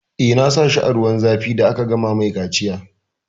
Eh, na sa shi a zuwan zafi da aka gama mai kaciya